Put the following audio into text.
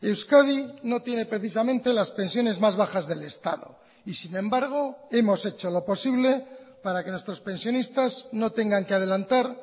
euskadi no tiene precisamente las pensiones más bajas del estado y sin embargo hemos hecho lo posible para que nuestros pensionistas no tengan que adelantar